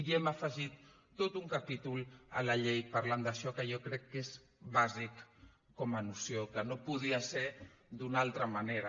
i hem afegit tot un capítol a la llei parlant d’això que jo crec que és bàsic com a noció que no podia ser d’una altra manera